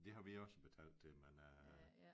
Det har vi også betalt til men øh